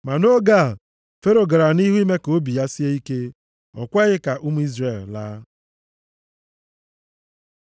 Ma nʼoge a, Fero gara nʼihu ime ka obi ya sie ike. O kweghị ka ụmụ Izrel laa.